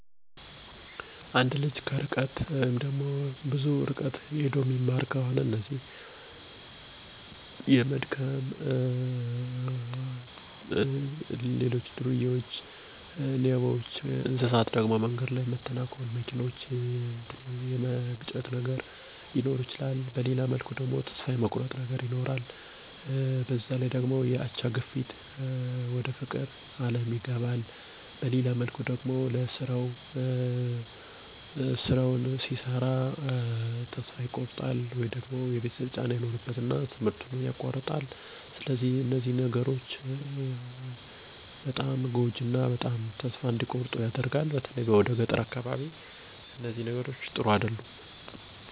አንድ ልጅ እረጅም የእግር ጉዞ በመሄድ የሚማር ከሆነ የተለያዩ ችግሮች ይገጥሙታል። ለምሳሌ የመድከም፣ በሌባ የመዘረፍ፣ የእንስሳት ተንኮል በአካላዊ ተፅኖ ያሳድራሉ። እረጃም ጉዞ እየሄደ ሚማር ከሆነ የመድገም ተስፋ የመቁረጥ የአምሮ ተእፅኖ ይኖረውል። በአካዳሚካል ትምህር የመቆራረጥ፣ ፈተና የማለፍ እና የመድገም እና እሰከ መጨረሻው ድረስ ከትምህርት መቅረትን ያስከትላል።